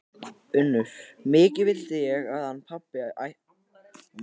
UNNUR: Mikið vildi ég hann pabbi væri svo fátækur að hann ætti ekki fyrir mat.